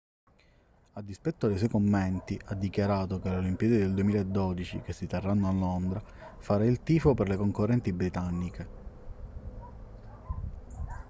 a dispetto dei suoi commenti ha dichiarato che alle olimpiadi del 2012 che si terranno a londra farà il tifo per le concorrenti britanniche